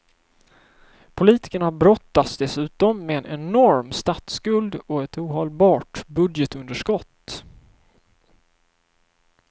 Politikerna brottas dessutom med en enorm statsskuld och ett ohållbart budgetunderskott.